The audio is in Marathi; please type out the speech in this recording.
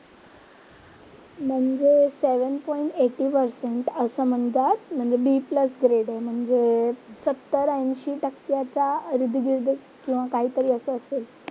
म्हणजे सेवन पॉईंट एटी पेरसेन्ट असं म्हणतात म्हणजे बी प्लस ग्रेड आहे. म्हणजे सत्तर-एंशी टक्क्याचा किरत गिरत किंवा काहीतरी असं असेल.